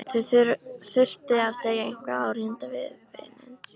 Þurfti að segja eitthvað áríðandi við vininn.